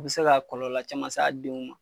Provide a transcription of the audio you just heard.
U bɛ se ka kɔlɔla caman se a denw u ma.